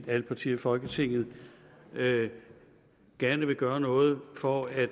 alle partier i folketinget gerne vil gøre noget for at